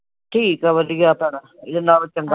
ਠੀਕ ਆ। ਵਧੀਆ ਭੈਣਾਂ ਇਹਦੇ ਨਾਲੋਂ ਚੰਗਾ